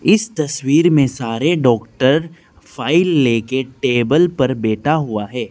इस तस्वीर में सारे डॉक्टर फाइल लेके टेबल पर बैठा हुआ है।